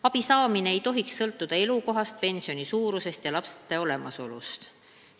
Abisaamine ei tohiks sõltuda elukohast, pensioni suurusest ja laste olemasolust.